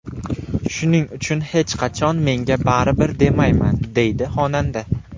Shuning uchun hech qachon menga baribir, demayman” deydi xonanda.